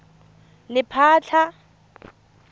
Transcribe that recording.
lephatla